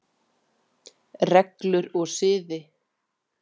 Reglur og siði